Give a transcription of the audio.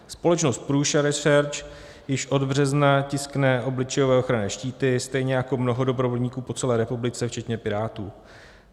Společnost Prusa Research již od března tiskne obličejové ochranné štíty, stejně jako mnoho dobrovolníků po celé republice včetně Pirátů.